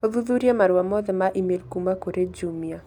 ũthuthurie marũa mothe ma e-mail kuuma kũrĩ jumia